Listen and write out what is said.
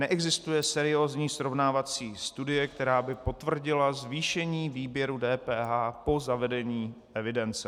Neexistuje seriózní srovnávací studie, která by potvrdila zvýšení výběru DPH po zavedení evidence.